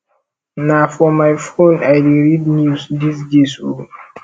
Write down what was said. na for my phone i dey read news dese days o